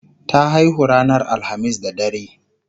ta haihu ranar alhamis da dare